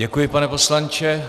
Děkuji, pane poslanče.